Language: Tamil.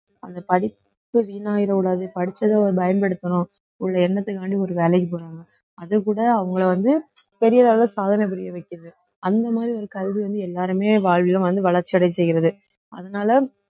அந்த படிப்பு வீணாயிறக்கூடாது படிச்சதை அவர் பயன்படுத்தணும் உள்ள எண்ணத்துக்காண்டி ஒரு வேலைக்கு போறாங்க அதுகூட அவுங்களை வந்து பெரிய அளவுல சாதனை புரிய வைக்குது அந்த மாதிரி ஒரு கல்வி வந்து எல்லாருமே வாழ்விலும் வந்து வளர்ச்சி அடைய செய்கிறது அதனால